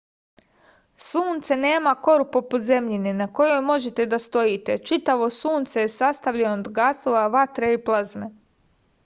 sunce nema koru poput zemljine na kojoj možete da stojite čitavo sunce je sastavljeno od gasova vatre i plazme